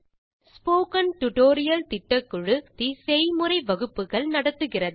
spoken tutorial திட்டக்குழு செய்முறை வகுப்புகள் நடத்துகிறது